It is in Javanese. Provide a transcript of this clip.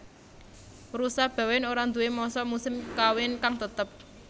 Rusa Bawéan ora nduwé masa musim kawin kang tetep